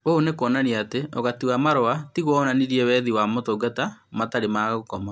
Ũũ nĩ kuonania atĩ ũgati wa marũa tigwo wonanirie wethi wa motungata matarĩ ma gũkoma